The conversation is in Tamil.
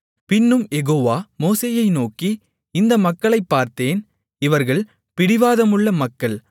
பின்னும் யெகோவா மோசேயை நோக்கி இந்த மக்களைப் பார்த்தேன் இவர்கள் பிடிவாதமுள்ள மக்கள்